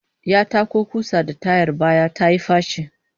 Ya tako kusa da tayar baya tayi faci